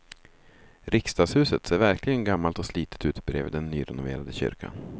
Riksdagshuset ser verkligen gammalt och slitet ut bredvid den nyrenoverade kyrkan.